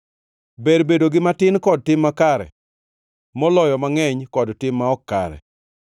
Ber bedo gi matin kod tim makare, moloyo mangʼeny kod tim ma ok kare.